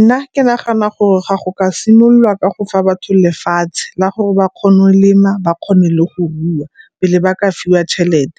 Nna ke nagana gore ga go ka simololwa ka go fa batho lefatshe la gore ba kgone molema ba kgone le go rua pele ba ka fiwa tšhelete.